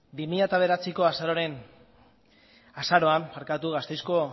bi mila bederatziko azaroan gasteizko